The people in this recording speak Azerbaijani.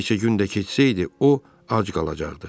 Bir neçə gün də keçsəydi, o ac qalacaqdı.